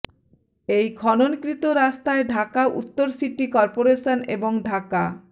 এই খননকৃত রাস্তায় ঢাকা উত্তর সিটি করপোরেশন এবং ঢাকা